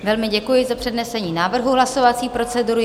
Velmi děkuji za přednesení návrhu hlasovací procedury.